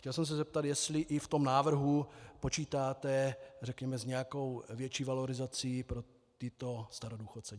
Chtěl jsem se zeptat, jestli i v tom návrhu počítáte řekněme s nějakou větší valorizací pro tyto starodůchodce.